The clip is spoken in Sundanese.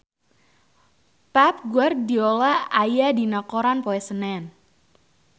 Pep Guardiola aya dina koran poe Senen